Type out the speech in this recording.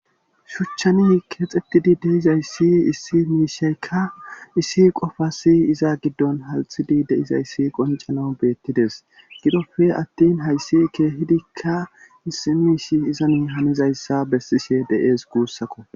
Shuchchani keexxettidi deizayssi issi miishaykka issi qofasi iza giddon halxidi deizayssi qoncano beettides gidofe attin hayssi keehidikka issi miish izanu hanizayssa bessishe de7ees guussakko.